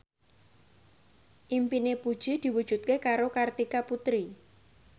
impine Puji diwujudke karo Kartika Putri